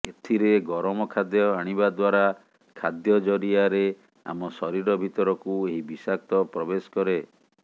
ଏଥିରେ ଗରମ ଖାଦ୍ୟ ଆଣିବା ଦ୍ୱାରା ଖାଦ୍ୟ ଜରିଆରେ ଆମ ଶରୀର ଭିତରକୁ ଏହି ବିଷାକ୍ତ ପ୍ରବେଶ କରେ